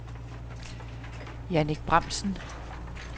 Jannick Bramsen